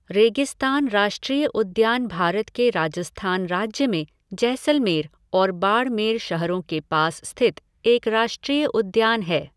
रेगिस्तान राष्ट्रीय उद्यान भारत के राजस्थान राज्य में जैसलमेर और बाड़मेर शहरों के पास स्थित एक राष्ट्रीय उद्यान है।